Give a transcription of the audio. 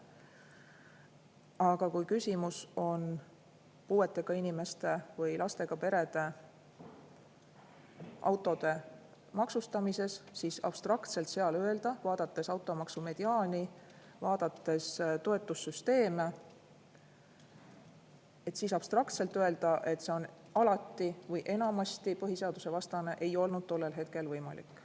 Aga kui küsimus on puuetega inimeste või lastega perede autode maksustamises, siis vaadates automaksu mediaani, vaadates toetussüsteeme, abstraktselt öelda, et see on alati või enamasti põhiseadusvastane, ei olnud tollel hetkel võimalik.